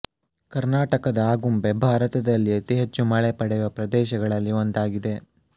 ಕರ್ನಾಟಕದ ಆಗುಂಬೆ ಭಾರತದಲ್ಲಿ ಅತಿ ಹೆಚ್ಚು ಮಳೆ ಪಡೆಯುವ ಪ್ರದೇಶಗಳಲ್ಲಿ ಒಂದಾಗಿದೆ